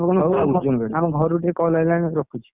ହଉ ଆମ ଘରୁ ଟିକେ call ଆଇଲାଣି ମୁଁ ରଖୁଛି?